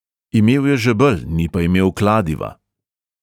Imel je žebelj, ni pa imel kladiva.